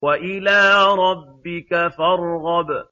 وَإِلَىٰ رَبِّكَ فَارْغَب